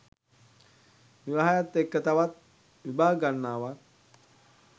විවාහයත් එක්ක තවත් විභාග ගණනාවක්